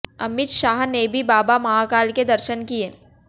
अमित शाह ने भी बाबा महाकाल के दर्शन किए